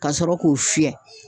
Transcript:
Ka sɔrɔ k'o fiyɛ.